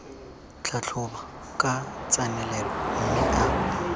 tlhatlhoba ka tsenelelo mme a